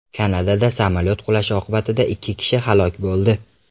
Kanadada samolyot qulashi oqibatida ikki kishi halok bo‘ldi.